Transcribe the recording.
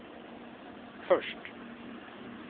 först